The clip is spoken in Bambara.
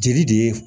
Jeli de ye